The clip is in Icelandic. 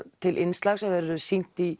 til innslag sem verður sýnt í